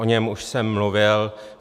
O něm už jsem mluvil.